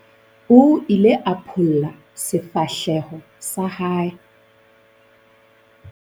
o ile a pholla sefahleho sa hae